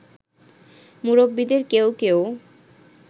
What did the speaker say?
মুরব্বিদের কেউ কেউ